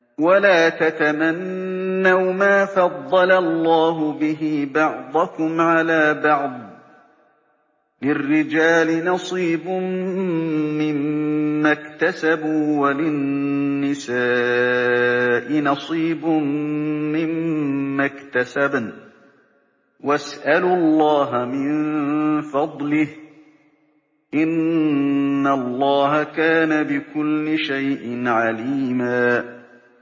وَلَا تَتَمَنَّوْا مَا فَضَّلَ اللَّهُ بِهِ بَعْضَكُمْ عَلَىٰ بَعْضٍ ۚ لِّلرِّجَالِ نَصِيبٌ مِّمَّا اكْتَسَبُوا ۖ وَلِلنِّسَاءِ نَصِيبٌ مِّمَّا اكْتَسَبْنَ ۚ وَاسْأَلُوا اللَّهَ مِن فَضْلِهِ ۗ إِنَّ اللَّهَ كَانَ بِكُلِّ شَيْءٍ عَلِيمًا